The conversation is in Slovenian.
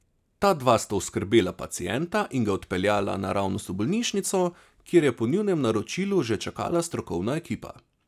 Ta dva sta oskrbela pacienta in ga odpeljala naravnost v bolnišnico, kjer je po njunem naročilu že čakala strokovna ekipa.